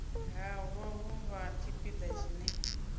halwa vhu vha tshipiḓa tshine